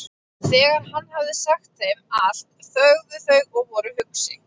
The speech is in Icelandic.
Þegar hann hafði sagt þeim allt þögðu þau og voru hugsi.